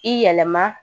I yɛlɛma